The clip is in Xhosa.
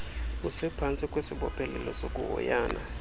usephantsi kwesibophelelo sokuhoyana